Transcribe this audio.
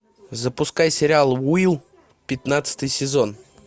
запускай сериал уилл пятнадцатый сезон